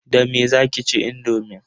Da me zaki ci indomin?